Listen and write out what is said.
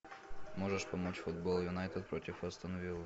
можешь помочь футбол юнайтед против астон виллы